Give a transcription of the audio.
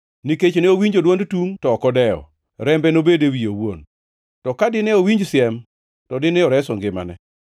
Nikech ne owinjo dwond tungʼ to ok odewo, rembe nobed e wiye owuon. To ka dine owinj siem, to dine oreso ngimane.